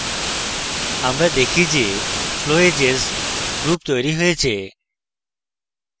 আমরা দেখি যে flowedges group তৈরী হয়েছে